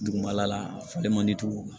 Dugumala la a falen man di o